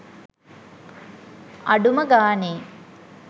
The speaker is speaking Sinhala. අඩුමගානේ